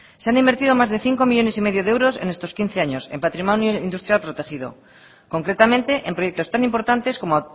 se han invertido más de cinco millónes y medio de euros en estos quince años en patrimonio industrial protegido concretamente en proyectos tan importantes como